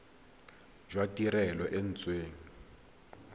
jwa tirelo e e neetsweng